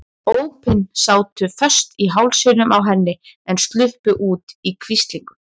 Ópin sátu föst í hálsinum á henni en sluppu út í hvíslingum.